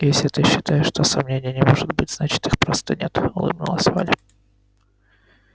если ты считаешь что сомнений не может быть значит их просто нет улыбнулась валя